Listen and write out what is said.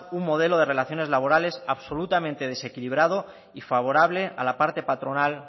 un modelo de relaciones laborales absolutamente desequilibrado y favorable a la parte patronal